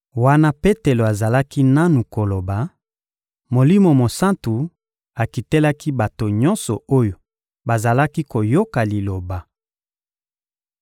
Wana Petelo azalaki nanu koloba, Molimo Mosantu akitelaki bato nyonso oyo bazalaki koyoka Liloba.